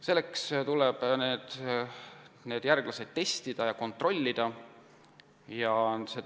Selleks tuleb neid järglasi testida ja kontrollida.